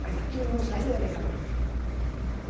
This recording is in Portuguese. Mas aquilo não saiu da minha cabeça.